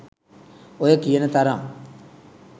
ඔය කියන තරම්